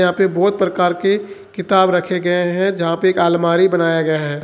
यहां पे बहोत प्रकार के किताब रखे गए हैं जहां पे एक अलमारी बनाया गया है।